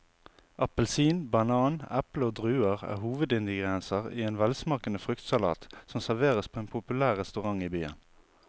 Appelsin, banan, eple og druer er hovedingredienser i en velsmakende fruktsalat som serveres på en populær restaurant i byen.